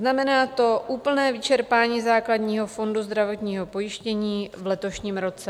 Znamená to úplné vyčerpání základního fondu zdravotního pojištění v letošním roce.